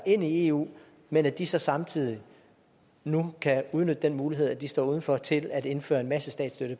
ind i eu men at de så samtidig nu kan udnytte den mulighed at de står uden for til at indføre en masse statsstøtte